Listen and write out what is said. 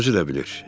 Özü də bilir.